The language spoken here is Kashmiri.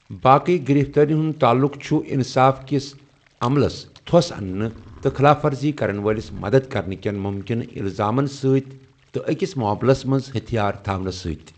باقٕے گِرِفتٲرِین ہُنٛد تعلُق چُھ اِنصاف کِس عملس تھو٘س اننہٕ تہٕ خلاف ورزی كرن وٲلِس مَدد کرنہٕ کیٚن مُمکِنہٕ اِلزامن سۭتۍ، تہٕ أکِس معاملس منٛز ہتھیار تھاونس سۭتۍ۔